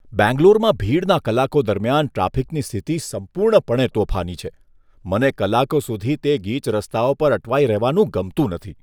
બેંગ્લોરમાં ભીડના કલાકો દરમિયાન ટ્રાફિકની સ્થિતિ સંપૂર્ણપણે તોફાની છે. મને કલાકો સુધી તે ગીચ રસ્તાઓ પર અટવાઈ રહેવાનું ગમતું નથી.